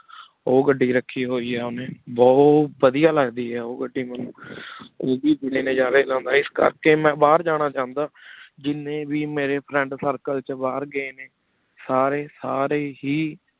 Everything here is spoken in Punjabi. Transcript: ਓਹ ਗਦੀ ਰਾਖੀ ਹੋਏ ਆ ਓਹਨੀ ਬੁਹਤ ਵਾਦਿਯ ਲਗਦੀ ਆ ਓਹ ਗਦੀ ਮੇਨੂ ਓਵੀ ਬਰੀ ਨਜ਼ਾਰੀ ਲੇੰਦਾ ਇਸ ਕਰ ਕੀ ਮੈ ਬਹਿਰ ਜਾਣਾ ਚਾਹੰਦਾ ਜਿਨੀ ਵੇ ਮੇਰੇ Friend Circle ਸਾਰੀ ਸਾਰੀ ਹੇ